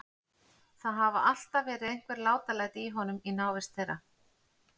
Það hafa alltaf verið einhver látalæti í honum í návist þeirra.